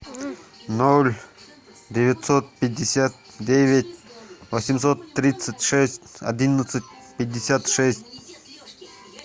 ноль девятьсот пятьдесят девять восемьсот тридцать шесть одиннадцать пятьдесят шесть